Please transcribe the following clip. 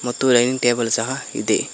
ಮತ್ತು dining table ಸಹ ಇದೆ.